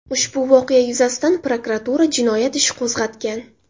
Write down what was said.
Ushbu voqea yuzasidan prokuratura jinoyat ishi qo‘zg‘atgan.